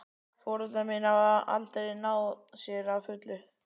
Foreldrar mínir hafa aldrei náð sér að fullu.